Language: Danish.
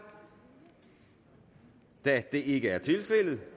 da det ikke er tilfældet